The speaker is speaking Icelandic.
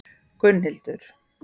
Gunnhildur